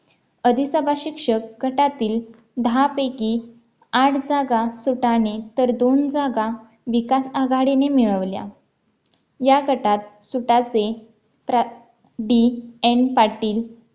आधी सभा शिक्षक गटातील दहा पैकी आठ जागा सुताने तर दोन जागा विकास आघाडीने मिळवल्या या गटात सुताचे प्रा. DN पाटील